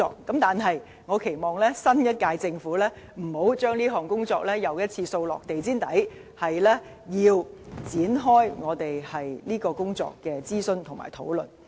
但是，我期望新一屆政府不要將這項工作再次掃到地毯下，而應展開這項工作的諮詢和討論。